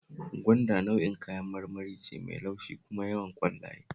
Gwanda nau'in kayan marmari ce mai laushi kuma yawan ƙwallaye